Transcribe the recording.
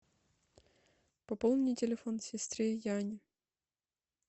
пополни телефон сестры яне